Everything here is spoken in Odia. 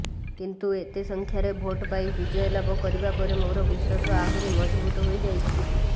କିନ୍ତୁ ଏତେ ସଂଖ୍ୟାରେ ଭୋଟ ପାଇ ବିଜୟ ଲାଭ କରିବା ପରେ ମୋର ବିଶ୍ୱାସ ଆହୁରି ମଜବୁତ ହୋଇଛି